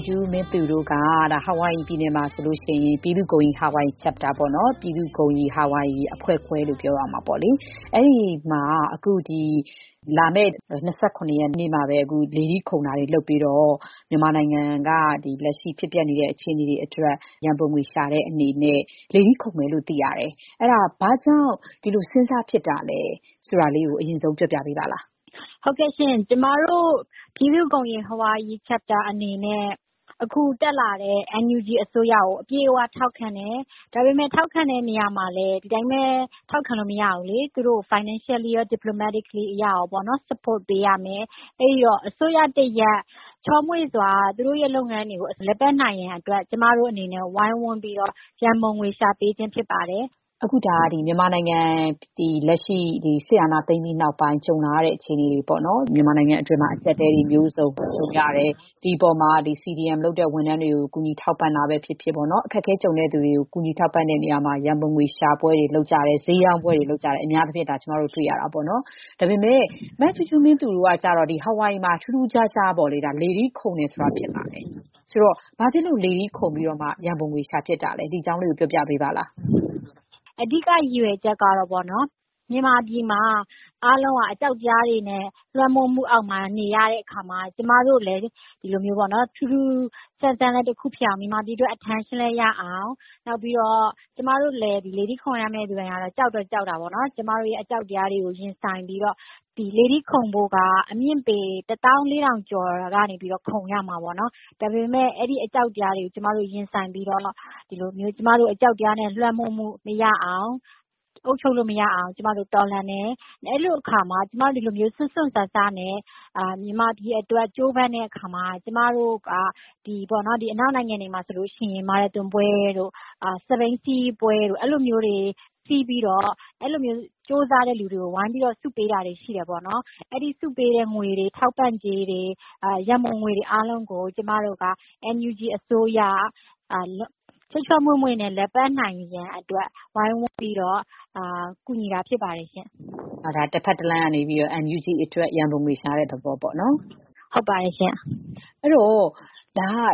ူးဂျူးမင်းသူ တို့က အာဝိုင်ရီပြည်နယ်မှာ ပြည်သူ့ဂုဏ်ရည် Hawaii Chapter ၊ ပြည်သူ့ဂုဏ်ရည် ဟာဝိုင်ရီအဖွဲ့ခွဲ အနေနဲ့ ဒီလ ၂၇ ရက်နေ့မှာ လေထီးခုန်ပြီး မြန်မာ့အရေးအတွက် ရန်ပုံငွေရှာပွဲ လုပ်ဖို့ ပြင်နေတယ်လို့ သိရပါတယ်။ ဘာကြောင့် ခုလိုလုပ်ဖို့ စဉ်းစားဖြစ်တာလဲ ဆိုတာ အရင်ဆုံး ပြောပြပေးပါလား။ “ဟုတ်ကဲ့ရှင့်။ ကျမတို့ ပြည်သူ့ဂုဏ်ရည် Hawaii Chapter အနေနဲ့ အခုတက်လာတဲ့ NUG အစိုးရကို အပြည့်အ၀ ထောက်ခံတယ်။ ဒါပေမဲ့ ထောက်ခံတဲ့နေရာမှာ ဒီအတိုင်းပဲ ထောက်ခံလို့မရဘူးလေ။ သူတို့ကို financially ရော၊ diplomatically ရော support ပေးရမယ်။ အဲ့ဒီတော့ အစိုးရတရပ် ချောမွေ့စွာ သူတို့ရဲ့လုပ်ငန်းတွေကို လည်ပတ်နိုင်ဖို့အတွက် ကျမတို့အနေနဲ့ ဝိုင်းဝန်းပြီးတော့ ရန်ပုံငွေရှာပေးခြင်း ဖြစ်ပါတယ်။” မြန်မာနိုင်ငံမှာ စစ်အာဏာသိမ်းပြီးနောက်ပိုင်း နိုင်ငံအတွင်းမှာ အကျပ်အတည်းတွေ မျိုးစုံကြုံရတယ်။ ဒီအပေါ်မှာ CDM လုပ်တဲ့ဝန်ထမ်းတွေကို ဒုက္ခသည်တွေကို ကူညီထောက်ပံ့တာပဲဖြစ်ဖြစ်၊ အခက်အခဲကြုံရတဲ့သူတွေကို ကူညီထောက်ပံ့တဲ့နေရာမှာ ရန်ပုံငွေ ရှာပွဲတွေ လုပ်ကြတယ်။ အများအားဖြင့် အလှူခံတာ၊ ဈေးရောင်းပွဲတွေ လုပ်ကြတာ တွေ့ရပါတယ်။ ဒါပေမဲ့ မဂျူးဂျူးမင်းသူ တို့ကကျတော့ ဟာဝိုင်ရီမှာ ထူးထူးခြားခြား လေထီးခုန်ဖို့လုပ်ကြတယ်။ ဆိုတော့ ဘာဖြစ်လို့ လေထီးခုန်ပြီးတော့ ရန်ပုံငွေ ရှာဖြစ်ကြတာလဲ။ “အဓိက ရည်ရွယ်ချက်ကတော့ မြန်မာပြည်မှာ အားလုံးက အကြောက်တရားတွေနဲ့ လွှမ်းမိုးမှုအောက်မှာ နေရတဲ့အခါမှာ ကျမတို့ကလဲ ဒီလို ထူးထူးဆန်းဆန်းလည်း တခုဖြစ်အောင်၊ မြန်မာပြည်အတွက် attention လည်း ရအောင်။ နောက်ပြီးတော့ ကျမတို့ လေထီးခုန်မယ့်သူတိုင်း ကတော့ ကြောက်တော့ကြောက်တာပေါ့နော်။ ဒါပေမဲ့ ကျမတို့ရဲ့ အကြောက်တရားတွေကို ရင်ဆိုင်ပြီးတော့ ဒီလေထီးခုန်ဖို့က အမြင့်ပေ ၁၄,၀၀၀ ကျော်ကနေပြီးတော့ ခုန်ရမှာပေါ့နော်။ ဒါပေမဲ့ အဲ့ဒီအကြောက်တရားတွေကို ကျမတို့ရင်ဆိုင်ပြီးတော့ အကြောက်တရားနဲ့ လွှမ်းမိုးမှု မရအောင်၊ အုပ်ချုပ်လို့မရအောင် ကျမတို့ တော်လှန်တယ်။ အဲ့လိုအခါမှာ ကျမတို့က စွန့်စွန့်စားစား မြန်မာပြည်အတွက် ကြိုးပမ်းတဲ့အခါမှာ - ဒီအနောက်နိုင်ငံတွေမှာဆိုရင် မာရသွန်ပွဲတို့၊ စက်ဘီးစီးပွဲတွေ လုပ်ပြီးတော့ အဲ့ဒီလိုကြိုးစားတဲ့ သူတွေကို ဝိုင်းပြီး ဆုပေးတာတွေ ရှိတယ်ပေါ့နော်။ အဲ့ဒီဆုပေးတဲ့ငွေတွေ၊ ထောက်ပံ့ကြေးတွေ၊ ရန်ပုံငွေတွေ အားလုံးကို ကျမတို့က NUG အစိုးရ ချောချောမွေ့မွေ့ လည်ပတ်နိုင်ဖို့အတွက် ဝိုင်းဝန်းပြီးတော့ ကူညီတာဖြစ်တယ်ပေါ့။” ဆိုတော့ ဒါက တဘက်တလှမ်းကနေ NUG အတွက် ရန်ပုံငွေရှာတဲ့ သဘောပေါ့။ “ဟုတ်ပါတယ်ရှင့်။”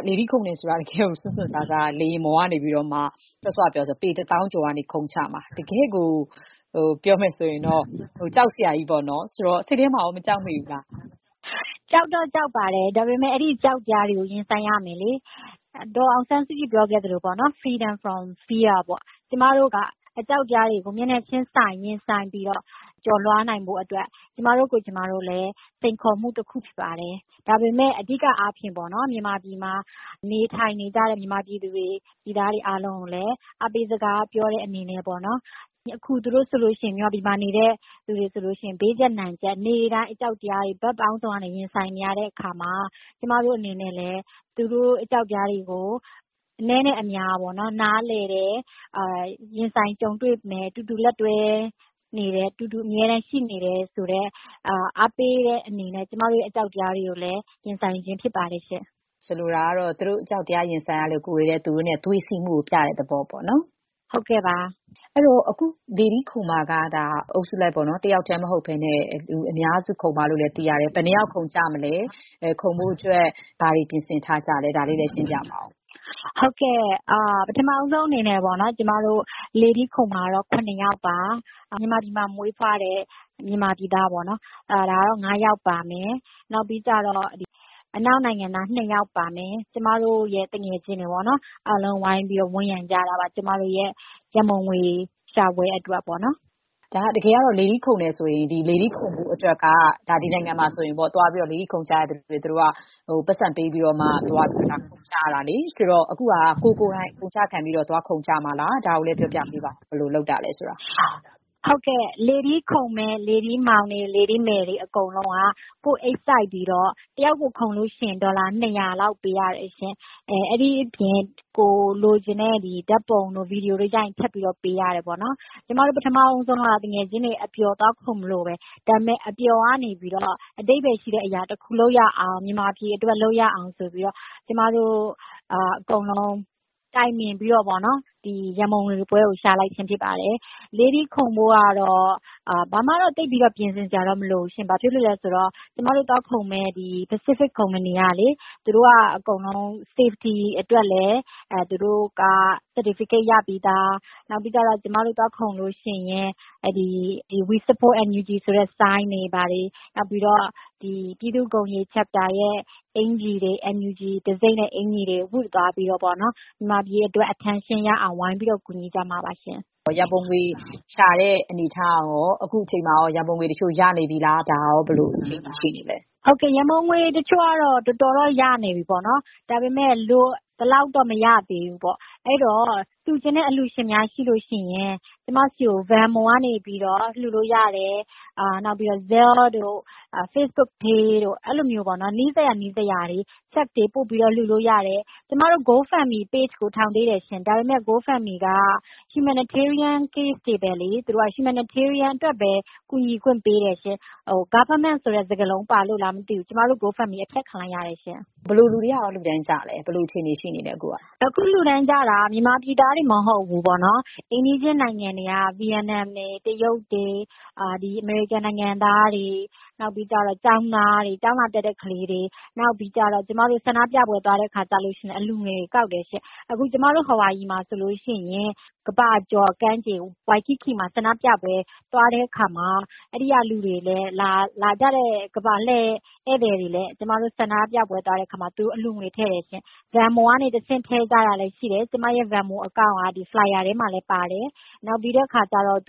လေထီးခုန်တယ်ဆိုတာ တကယ့်ကို စွန့်စွန့်စားစား လေယာဉ်ပေါ်ကနေ စောစောကပြောတဲ့အတိုင်းဆိုရင် ပေ တစ်သောင်းကျော်ကနေ ခုန်ချမှာ။ တကယ့်ကို ကြောက်စရာကြီးပါ။ စိတ်ထဲမှာရော မကြောက်မိဘူးလား။ “ကြောက်တော့ကြောက်ပါတယ်။ ဒါပေမဲ့ အဲ့ဒီအကြောက်တရားတွေကို ရင်ဆိုင်ရမယ်လေ။ ဒေါ်အောင်ဆန်းစုကြည် ပြောခဲ့သလိုပေါ့နော်။ Freedom from Fear ပေါ့။ ကျမတို့က အကြောက်တရားတွေကို မျက်နှာချင်းဆိုင် ရင်ဆိုင်ပြီးတော့ အဲ့ဒီအကြောက်တရားတွေကို ရင်ဆိုင်ကျော်လွှားနိုင်ဖို့ အတွက် ကျမတို့ကိုယ်ကျမတို့လည်း စိန်ခေါ်မှုတခု ဖြစ်ပါတယ်။ ဒါပေမဲ့ အဓိကအားဖြင့်ပေါ့ မြန်မာပြည်မှာ နေထိုင်နေကြတဲ့ မြန်မာပြည်သူတွေ ပြည်သားတွေ အားလုံးကိုလည်း အားပေးစကား ပြောတဲ့အနေနဲ့ပေါ့နော်။ အခု မြန်မာပြည်မှာ နေတဲ့သူတွေဆိုလို့ရှိရင် ဘေးကျပ်နံကျပ် နေ့တိုင်း အကြောက်တရားတွေ ရင်ဆိုင်နေရတဲ့အခါမှာ ကျမတို့အနေနဲ့လည်း သူတို့ရဲ့ အကြောက်တရားတွေကို အနည်းနဲ့အများ နားလည်တယ်။ ရင်ဆိုင်ကြုံတွေ့မယ်။ အတူတူလက်တွဲနေတယ်။ အတူတူ အမြဲတမ်းရှိနေတယ်ဆိုတဲ့ အားပေးတဲ့အနေနဲ့ ကျမတို့ရဲ့ အကြောက်တရားတွေကိုလည်း ရင်ဆိုင်ခြင်းဖြစ်ပါတယ်။” ဆိုလိုတာက သူတို့တွေ အကြောက်တရားတွေနဲ့ ရင်ဆိုင်နေရလို့ ကိုယ်တွေကလည်း သူတို့နဲ့အတူ သွေးစည်းမှုကို ပြတဲ့သဘောပေါ့။ “ဟုတ်ကဲ့ပါ။” အခု လေထီးခုန်မှာက တယောက်တည်းမဟုတ်ဘဲ အုပ်စုလိုက်ခုန်မယ်လို့ သိရပါတယ်။ ဆိုတော့ ဘယ်နှစ်ယောက် ခုန်ကြမှာလဲ။ ခုန်ဖို့အတွက် ဘာတွေ ပြင်ဆင်ထားကြလဲ ဆိုတာလည်း ပြောပြပါဦး။ “ဟုတ်ကဲ့။ ပထမဆုံးအနေနဲ့ ကျမတို့ လေထီးခုန်မှာကတော့ ၇ ယောက်ပါ။ မြန်မာပြည်မှာ မွေးတဲ့မြန်မာပြည်သားက ၅ ယောက် ပါမယ်။ အနောက်နိုင်ငံသား ၂ ယောက်ပါမယ်။ ကျမတို့ရဲ့ သူငယ်ချင်းတွေပေါ့။ အားလုံး ဝိုင်းပြီးတော့ ဝန်းရံကြတာပါ။ ကျမတို့ရဲ့ ရန်ပုံငွေရှာပွဲ အတွက်ပေါ့။” လေထီးခုန်မယ်ဆိုရင် ဒီနိုင်ငံမှာ လေထီးခုန်ဖို့အတွက် ပိုက်ဆံပေးပြီးတော့ ခုန်ကြရတာပါ။ ဆိုတော့ အခု ခုန်မယ့်သူတွေက ကိုယ် ကိုယ်တိုင် အကုန်အကျခံပြီး ခုန်ကြမှာလား။ ဘယ်လို စီစဉ်ကြတာလဲဆိုတာလဲ ပြောပြပါဦး။ “ဟုတ်ကဲ့။ လေထီးခုန်မယ့် လေထီးမောင်တွေ လေထီးမယ်တွေ အကုန်လုံးက ကိုယ့်အိတ်စိုက်ပြီး တယောက်ကို ခုန်လို့ရှိရင် ဒေါ်လာ ၂၀၀ လောက် ပေးရတယ်ရှင့်။ အဲ့ဒီအပြင် ကိုယ်လိုချင်တဲ့ ဓာတ်ပုံတို့ ဗွီဒီယိုတို့ ရိုက်ရင် ထပ်ပြီးပေးရတယ်ပေါ့နော်။ ကျမတို့ ပထမဦးဆုံးကတော့ သူငယ်ချင်းတွေ အပျော် သွားခုန်မလို့ပဲ။ ဒါပေမဲ့ အပျော်ကနေ အဓိပ္ပါယ်ရှိတဲ့အရာတခု လုပ်ရအောင်၊ မြန်မာပြည်အတွက် လုပ်ရအောင် ဆိုပြီးတော့ ကျမတို့အားလုံး တိုင်ပင်ပြီးတော့ ရန်ပုံငွေပွဲကို ရှာလိုက်ခြင်းဖြစ်ပါတယ်။ လေထီးခုန်ဖို့ကတော့ ဘာမှတော့ သိပ်ပြီး ပြင်ဆင်စရာ မလိုပါဘူး။ ဘာဖြစ်လို့လဲဆိုတော့ ကျမတို့သွားခုန်မယ့် Pacific ကုမ္ပဏီက အကုန်လုံး safety အတွက်လည်း သူတို့က certificate ရပြီးသား။ နောက်ပြီးတော့ ကျမတို့ သွားခုန်လို့ရှိရင် We support NUG ဆိုတဲ့ ဆိုင်းပုဒ်တွေ၊ ပြည်သူ့ဂုဏ်ရည် Chapter ရဲ့ အင်္ကျီတွေ၊ NUG အင်္ကျီတွေ ဝတ်သွားပြီးတော့ မြန်မာပြည်အတွက် attention ရအောင် ဝိုင်းပြီးတော့ ကူညီကြမှာပါရှင့်။” ရန်ပုံငွေရှာတဲ့ အနေအထားကရော ဘယ်လိုရှိလဲ။ အခုချိန်မှာ ရန်ပုံငွေတချို့ ရနေပြီလား။ “ဟုတ်ကဲ့။ ရန်ပုံငွေတချို့တော့ တော်တော်တော့ ရနေပြီပေါ့နော်။ ဒါပေမဲ့ လိုသလောက်တော့ မရသေးဘူးပေါ့။ အဲ့ဒီတော့ လှူချင်တဲ့အလှူရှင်များရှိရင် ကျမဆီကို Venmo ကနေ လှူလို့ရတယ်။ Zelle တို့ Facebook pay တို့ နီးစပ်ရာကနေ လှူလို့ရတယ်။ ကျမတို့ Go Fund Me page ထောင်သေးတယ်ရှင့်။ ဒါပေမဲ့ Go Fund Me က humanitarian case တွေကိုပဲ ကူညီခွင့်ပေးတယ်ရှင့်။ government ဆိုတဲ့ စကားလုံးပါလို့လားမသိဘူး။ ကျမတို့ Go Fund Me အဖျက်ခံလိုက်ရတယ်ရှင့်။” ဘယ်လိုလူတွေက အဓိက လှူဒါန်းကြလဲ။ “အခု လှူဒါန်းကြတာက မြန်မာပြည်သားတွေတင် မဟုတ်ဘူးပေါ့နော်။ အိမ်နီးချင်း နိုင်ငံတွေက ဗီယက်နမ်တွေ၊ တရုတ်တွေ၊ အမေရိကန်နိုင်ငံသားတွေ၊ ကျောင်းသားတွေ၊ ကျောင်းလာတက်ကြတဲ့သူတွေ။ နောက်ပြီးတော့ ကျမတို့ ဆန္ဒပြပွဲတွေ သွားရင်လဲ အလှူငွေတွေ ကောက်တယ်ရှင့်။ အခု ကျမတို့ ဟာဝိုင်ရီမှာဆိုရင် ကမ္ဘာကျော်ကမ်းခြေ ဝိုင်ကိကီ မှာ ဆန္ဒပြပွဲ သွားတဲ့အခါမှာလဲ အဲ့ဒီကိုလာကြတဲ့ ကမ္ဘာလှည့် ဧည့်သည်တွေကလည်း ကျမတို့ ဆန္ဒပြပွဲမှာ အလှူငွေ ထည့်ကြတယ်ရှင့်။ Venmo ကနေ ထည့်ကြတာလည်း ရှိတယ်။ ကျမရဲ့ Venmo account က flyer ထဲမှာလဲ ထည့်ထားတယ်။ တချို့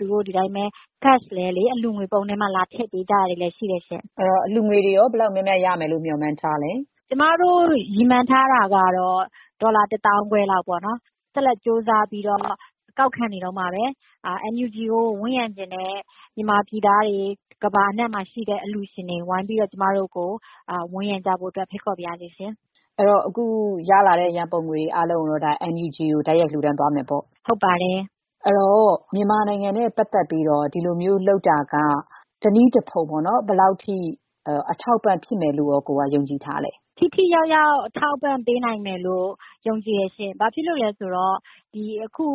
က ငွေသားနဲ့ပဲ အလှူငွေပုံးထဲ လာထည့်ကြတာလည်း ရှိတယ်ရှင့်။” အလှူငွေတွေ ဘယ်လောက်များများ ရဖို့ရော မျှော်မှန်းထားတာပါလဲ။ “ကျမတို့ရည်မှန်းထားတာ ကတော့ ဒေါ်လာ တစ်သောင်းခွဲလောက်ပေါ့နော်။ ဆက်လက်ပြီးတော့ ကောက်ခံနေတုန်းပါပဲ။ NUG ကို ဝန်းရံချင်တဲ့ မြန်မာပြည်သားတွေ၊ ကမ္ဘာအနှံ့မှာရှိတဲ့ အလှူရှင်တွေ ကျမတို့ကို ဝိုင်းပြီး ဝန်းရံကြဖို့အတွက် ဖိတ်ခေါ်ပါရစေ။” အဲ့ဒီတော့ အခုရလာတဲ့ ရန်ပုံငွေတွေ အားလုံးကိုတော့ NUG ကို တိုက်ရိုက်လှူဒါန်းသွားမယ်ပေါ့။ “ဟုတ်ပါတယ်။” အဲ့ဒီတော့ မြန်မာနိုင်ငံနဲ့ပတ်သက်ပြီးတော့ ဒီလိုမျိုးလုပ်တာက ဘယ်လောက်အထိ တနည်းတဖုံ အထောက်အပံ့ဖြစ်မယ်လို့ ယုံကြည်ထားလဲ။ “ထိထိရောက်ရောက် အထောက်အပံ့ပေးနိုင်မယ်လို့ ယုံကြည်တယ်ရှင့်။ ဘာဖြစ်လို့လဲဆိုတော့ ဒီအခု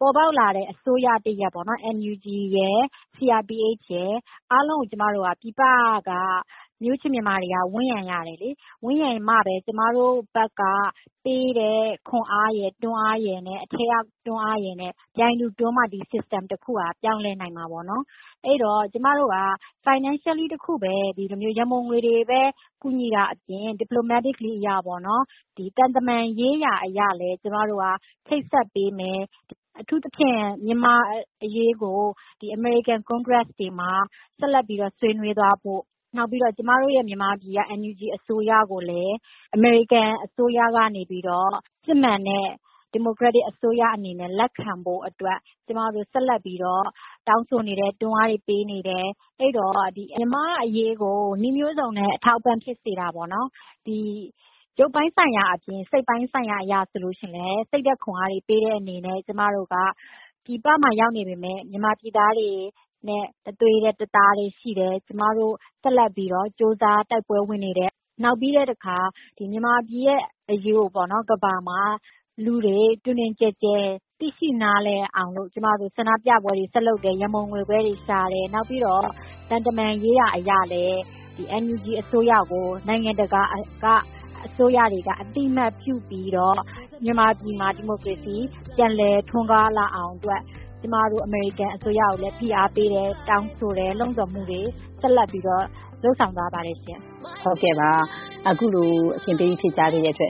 ပေါ်ပေါက်လာတဲ့ အစိုးရတရပ် NUG ရယ်။ CRPH ရယ် အားလုံးကို ပြည်ပက မျိုးချစ်မြန်မာတွေက ဝန်းရံရတယ်လေ။ ဝန်းရံမှပဲ ကျမတို့ဘက်ကပေးတဲ့ ခွန်အားရယ်၊ တွန်းအားရယ်နဲ့ အထဲကတွန်းအားရယ် ပြိုင်တူတွန်းမှ ဒီစနစ်တခုက ပြောင်းလဲနိုင်မှာပေါ့နော်။ အဲ့ဒီတော့ ကျမတို့က ငွေကြေးတခုတည်း ဒီလို ရန်ပုံငွေတွေပဲ ကူညီတာအပြင် သံတမန်ရေးရာအရလည်း ချိတ်ဆက်ပေးမယ်။ အထူးသဖြင့် မြန်မာ့အရေးကို အမေရိကန် ကွန်ဂရက်လွှတ်တော်တွေမှာ ဆက်ပြီးတော့ ဆွေးနွေးသွားဖို့။ နောက်ပြီးတော့ ကျမတို့ မြန်မာပြည်က NUG အစိုးရကိုလည်း အမေရိကန်အစိုးရက စစ်မှန်တဲ့ ဒီမိုကရက်တစ်အစိုးရ အနေနဲ့ လက်ခံဖို့အတွက် ကျမတို့ ဆက်လက်ပြီးတော့ တောင်းဆိုနေတယ်။ တွန်းအားတွေ ပေးနေတယ်။ အဲ့ဒီတော့ မြန်မာ့အရေးကို နည်းမျိုးစုံနဲ့ အထောက်အပံ့ဖြစ်စေတာပေါ့နော်။ ရုပ်ပိုင်းဆိုင်ရာအပြင် စိတ်ပိုင်းဆိုင်ရာ အရဆိုရင်လဲ စိတ်ဓာတ်ခွန်အားပေးတဲ့အနေနဲ့၊ ကျမတို့က ပြည်ပမှာ ရောက်နေပေမဲ့ မြန်မာပြည်သားတွေနဲ့ တသွေးတည်း တသားတည်း ရှိတယ်။ ကျမတို့ ဆက်လက်ပြီးတော့ ကြိုးစား တိုက်ပွဲဝင်နေတယ်။ နောက်ပြီးတော့ မြန်မာပြည်ရဲ့အရေးကို ကမ္ဘာကလူတွေ တွင်တွင်ကျယ်ကျယ် သိရှိနားလည်အောင် ဆန္ဒပြပွဲတွေ ဆက်လုပ်တယ်။ ရန်ပုံငွေပွဲတွေ ရှာတယ်။ နောက်ပြီးတော့ သံတမန်ရေးရာ အရလည်း NUG အစိုးရကို နိုင်ငံတကာက အသိအမှတ်ပြုပြီးတော့ မြန်မာပြည်မှာ ဒီမိုကရေစီ ပြန်လည်ထွန်းကားလာအောင်အတွက် ကျမတို့ အမေရိကန်အစိုးရကိုလည်း ဖိအားပေးတယ်။ တောင်းဆိုတယ်။ လှုံ့ဆော်မှုတွေ ဆက်လက်ပြီးတော့ လုပ်ဆောင်နေပါတယ်။” ခုလိုအချိန်ပေး ဖြေကြားပေးတဲ့အတွက်